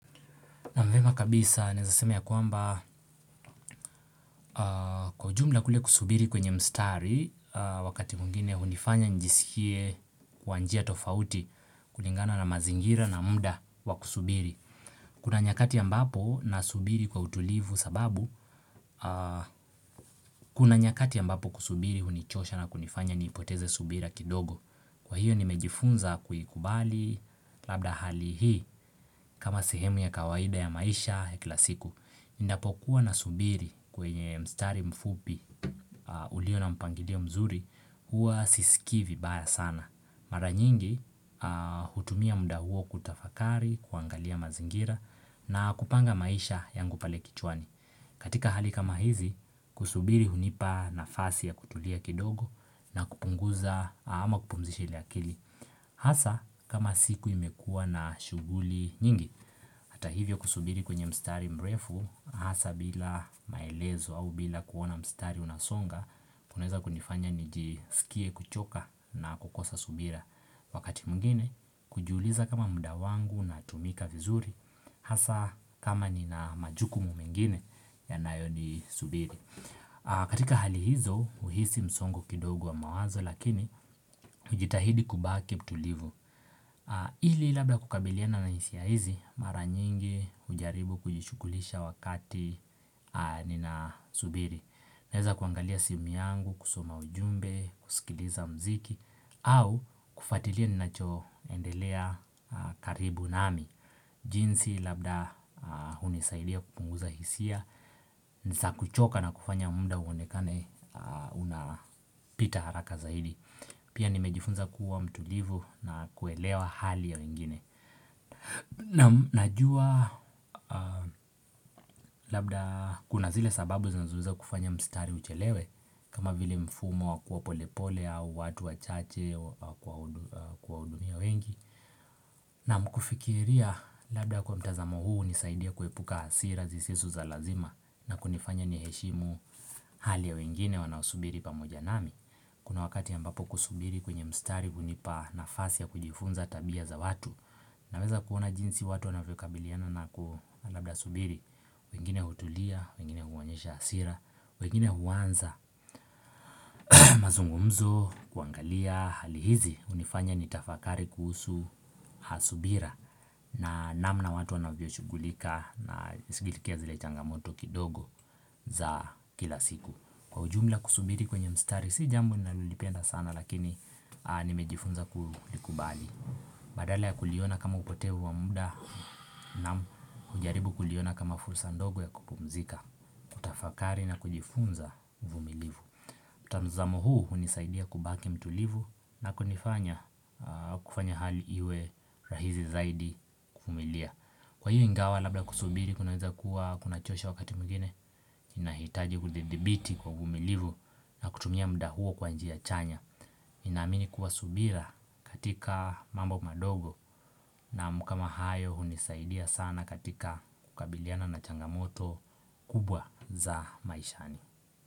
Na mvema kabisa naeza sema ya kwamba kwa ujumla kule kusubiri kwenye mstari wakati mwingine hunifanya nijisikie kwa njia tofauti kulingana na mazingira na mda wakusubiri. Kuna nyakati ambapo na subiri kwa utulivu sababu kuna nyakati ambapo kusubiri hunichosha na kunifanya niipoteze subira kidogo. Kwa hiyo nimejifunza kuikubali labda hali hii kama sehemu ya kawaida ya maisha ya kila siku. Ninapokuwa na subiri kwenye mstari mfupi ulio na mpangilio mzuri huwa sisikii vibaya sana, mara nyingi hutumia mda huo kutafakari, kuangalia mazingira na kupanga maisha yangu pale kichwani katika hali kama hizi kusubiri hunipa nafasi ya kutulia kidogo na kupunguza ama kupumzisha ile akili Hasa kama siku imekua na shughuli nyingi, hata hivyo kusubiri kwenye mstari mrefu, hasa bila maelezo au bila kuona mstari unasonga, kunaeza kunifanya nijisikie kuchoka na kukosa subira. Wakati mwingine hujuiliza kama mda wangu una tumika vizuri, hasa kama ni na majukumu megine yanayoni subiri. Katika hali hizo huhisi msongo kidogo wa mawazo lakini ujitahidi kubaki mtulivu ili labda kukabiliana na hisia hizi mara nyingi hujaribu kujishughulisha wakati nina subiri. Naeza kuangalia simu yangu, kusoma ujumbe, kusikiliza muziki au kufatilia ninachoendelea karibu nami jinsi labda hunisaidia kupunguza hisia Nza kuchoka na kufanya mda uonekane unapita haraka zaidi Pia nimejifunza kuwa mtulivu na kuelewa hali ya wengine Najua labda kuna zile sababu zinazo weza kufanya mstari uchelewe kama vile mfumo wa kuwa polepole au watu wa chache kwa hudumia wengi Naan kufikiria labda kwa mtazamo huu nisaidie kuepuka hasira zisizo za lazima na kunifanya ni heshimu hali ya wengine wanaosubiri pamoja nami Kuna wakati ya ambapo kusubiri kwenye mstari kunipa nafasi ya kujifunza tabia za watu na weza kuona jinsi watu wanavyo kabiliana na ku labda subiri wengine hutulia, wengine huonyesha asira, wengine huwanza mazungumzo kuangalia Hali hizi hunifanya ni tafakari kuhusu ha subira na namna watu wanavyo shugulika na sikilikia zile changamoto kidogo za kila siku. Kwa ujumla kusubiri kwenye mstari si jambo nalolipenda sana lakini nimejifunza kulikubali Badala ya kuliona kama upotevu wa mda naam hujaribu kuliona kama fursa ndogo ya kupumzika kutafakari na kujifunza uvumilivu mtanzamo huu hunisaidia kubaki mtulivu na kunifanya kufanya hali iwe rahizi zaidi kuvumilia. Kwa hiyo ingawa labla kusubiri kunaweza kuwa kuna chosha wakati mwingine inahitaji kudidhibiti kwa uvumilivu na kutumia mda huo kwa njia chanya ninamini kuwa subira katika mambo madogo naam kama hayo hunisaidia sana katika kukabiliana na changamoto kubwa za maishani.